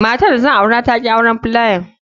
Matran da zan aura ta ki wanan filayan.